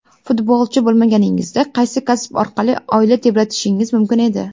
Futbolchi bo‘lmaganingizda, qaysi kasb orqali oila tebratishingiz mumkin edi?